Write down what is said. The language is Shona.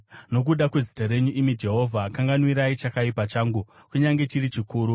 Nokuda kwezita renyu, imi Jehovha, kanganwirai chakaipa changu, kunyange chiri chikuru.